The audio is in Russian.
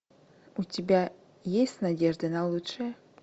у тебя есть надежда на лучшее